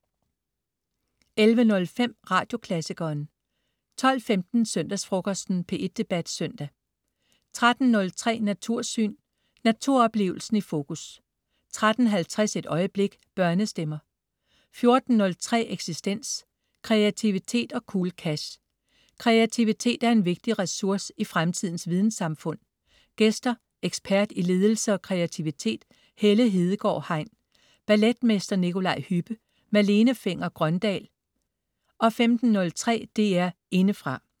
11.05 Radioklassikeren 12.15 Søndagsfrokosten. P1 Debat Søndag 13.03 Natursyn. Naturoplevelsen i fokus 13.50 Et øjeblik. Børnestemmer 14.03 Eksistens. Kreativitet og cool cash. Kreativitet er en vigtig ressource i fremtidens videnssamfund. Gæster: ekspert i ledelse og kreativitet Helle Hedegaard Hein, balletmester Nikolaj Hübbe. Malene Fenger-Grøndahl 15.03 DR Indefra